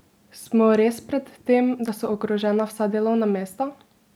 Smo res pred tem, da so ogrožena vsa delovna mesta?